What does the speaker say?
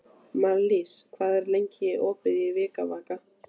Marlís, hvað er lengi opið í Vikivaka?